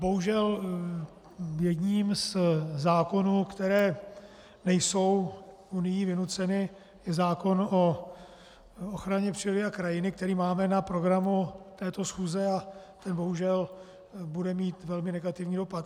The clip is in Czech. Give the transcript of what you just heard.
Bohužel jedním ze zákonů, které nejsou Unií vynuceny, je zákon o ochraně přírody a krajiny, který máme na programu této schůze, a ten bohužel bude mít velmi negativní dopad.